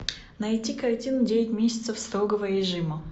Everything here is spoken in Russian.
найти картину девять месяцев строгого режима